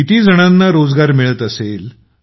किती जणांना रोजगार मिळत असेल